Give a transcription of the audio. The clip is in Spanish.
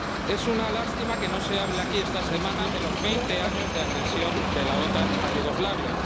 Es una lástima que no se hable aquí esta semana de los veinte años de agresión de la OTAN a Yugoslavia.